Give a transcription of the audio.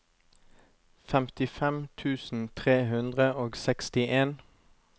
femtifem tusen tre hundre og sekstien